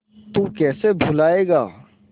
तू कैसे भूलाएगा